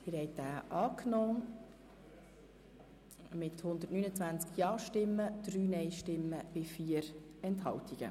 Sie haben den Abänderungsantrag angenommen mit 129 Ja- gegen 3 Nein-Stimmen und 4 Enthaltungen.